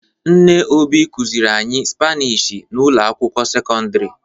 Nne Obi kụziri anyị Spanishi n'ụlọ akwụkwọ sekondịri.